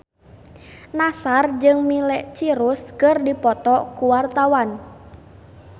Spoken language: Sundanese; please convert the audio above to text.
Nassar jeung Miley Cyrus keur dipoto ku wartawan